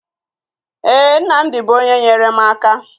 Ee, Nnamdi bụ onye nyere m aka